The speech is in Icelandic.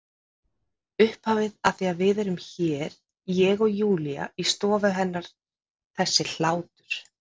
Upphafið að því að við erum hér, ég og Júlía, í stofu hennar þessi hlátur.